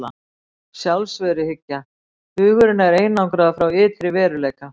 Sjálfsveruhyggja: Hugurinn er einangraður frá ytri veruleika.